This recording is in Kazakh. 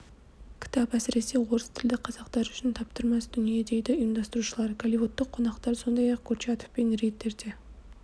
кітап әсіресе орыс тілді қазақтар үшін таптырмас дүние дейді ұйымдастырушылар голливудтық қонақтар сондай-ақ курчатов пен риддерде